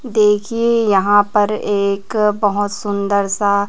देखिए यहां पर एक बहोत सुंदर सा--